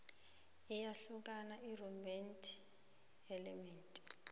iyahlukani irhythm element